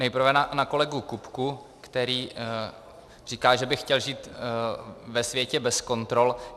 Nejprve na kolegu Kupku, který říká, že by chtěl žít ve světě bez kontrol.